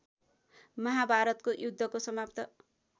महाभारतको युद्धको समाप्त